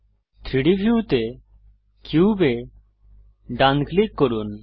3ডি ভিউতে কিউবে ডান ক্লিক করুন